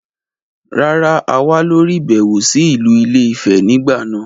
Rárá, a wà lórí ìbẹ̀wò sí ìlú ilé - ìfẹ nígbà náà.